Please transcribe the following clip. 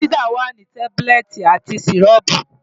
Fansidar wà ní tábúlẹ̀tì àti sìrọ́ọ̀pù.